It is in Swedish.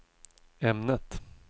ämnet